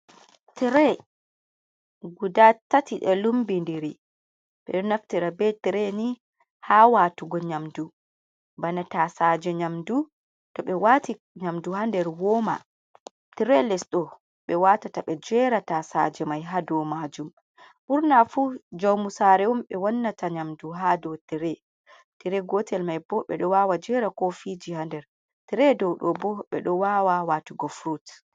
Tire guda tati ɗo lumbi ndiri ɓeɗo naftira be tire ni ha watugo nyamdu bana tasaje nyamdu toɓe waati nyamdu ha nder woma tire lesɗo ɓe watata ɓe jera tasaje mai ha dou majum ɓurna fu jamu sare un ɓe wannata nyamdu ha dou tire; tire gotel mai bo ɓeɗo wawa jera kofiji ha nder tire dou ɗobo ɓeɗo wawa watugo frut.